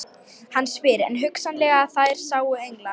Hann spyr: er hugsanlegt að þær séu englar?